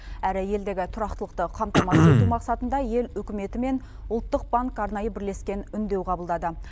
әрі елдегі тұрақтылықты қамтамасыз ету мақсатында ел үкіметі мен ұлттық банк арнайы бірлескен үндеу қабылдады